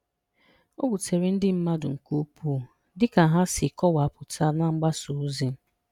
O wutere ndị mmadụ nke ukwuu dịka ha si kọwapụta na mgbasa ozi.